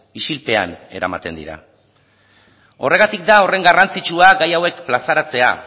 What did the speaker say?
isilpean eramaten dira horregatik da horren garrantzitsua gai hauek plazaratzea